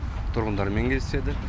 тұрғындармен кездеседі